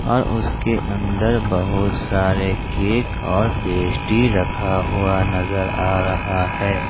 और उसके अंदर बहुत सारे केक और पेस्ट्री रखा हुआ नजर आ रहा है।